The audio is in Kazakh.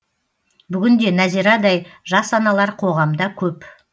бүгін де нәзирадай жас аналар қоғамда көп